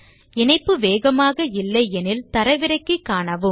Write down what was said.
இணைப்பு வேகமாக இல்லை எனில் அதை தரவிறக்கி காணுங்கள்